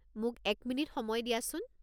মোক এক মিনিট সময় দিয়াছোন।